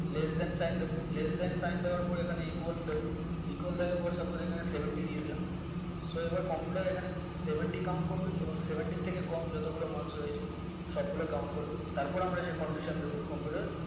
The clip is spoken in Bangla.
less than sign হবে less than sign হওয়ার পর এখানে equal দেব equal দেওয়ার পর এখানে seventy দিয়ে দিলাম so এবার computer এখানে seventy count করবে এবং seventy থেকে কম যত গুলা marks রয়েছে সব গুলা count করবে তারপর আমরা যেই condition দেবো computer এ